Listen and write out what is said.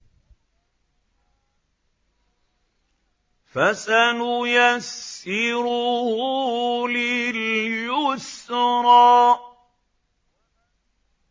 فَسَنُيَسِّرُهُ لِلْيُسْرَىٰ